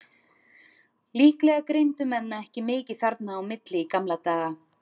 Líklega greindu menn ekki mikið þarna á milli í gamla daga.